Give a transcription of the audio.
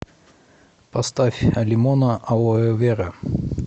поставь алимоно алоэвера